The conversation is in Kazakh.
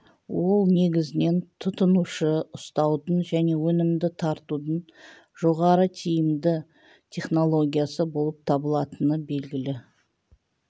ол негізінен тұтынушыны ұстаудың және өнімді тартудың жоғары тиімді технологиясы болып табылатыны белгілі